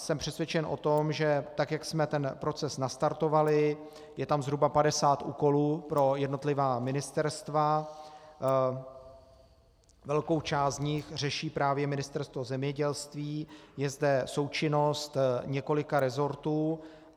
Jsem přesvědčen o tom, že tak jak jsme ten proces nastartovali, je tam zhruba 50 úkolů pro jednotlivá ministerstva, velkou část z nich řeší právě Ministerstvo zemědělství, je zde součinnost několika resortů.